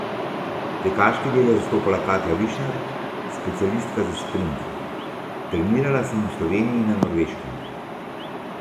Tekaški del je zastopala Katja Višnar, specialistka za sprint: 'Trenirala sem v Sloveniji in na Norveškem.